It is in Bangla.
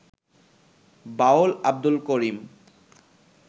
বাউল আব্দুল করিম